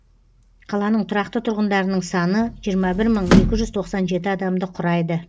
қаланың тұрақты тұрғындарының саны жиырма бір мың екі жүз тоқсан жеті адамды құрайды